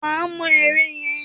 Wà á mọ ère yẹn!